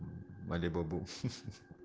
алибабу